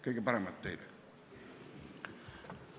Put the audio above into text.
Kõige paremat teile!